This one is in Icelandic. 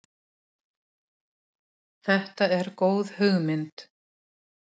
Orsök þess er ekki fullljós en fylgni við ofnæmi er vel þekkt.